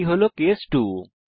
এটি হল কেস 2